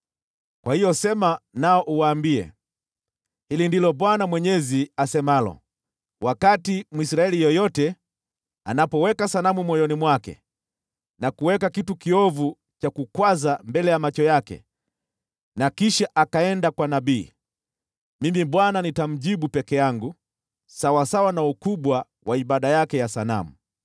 Kwa hiyo sema nao uwaambie, ‘Hili ndilo Bwana Mwenyezi asemalo: Wakati Mwisraeli yeyote anapoweka sanamu moyoni mwake na kuweka kitu kiovu cha kukwaza mbele ya macho yake na kisha akaenda kwa nabii, Mimi Bwana nitamjibu peke yangu sawasawa na ukubwa wa ibada yake ya sanamu.